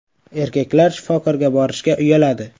Erkaklar shifokorga borishga uyaladi.